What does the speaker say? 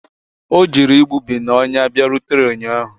O jiri igbubi na ọnya bịarutere ụnyahụ